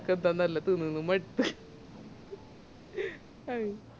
അതൊക്കെ ന്താ തിന്നിതിന്ന് മടുത്ത്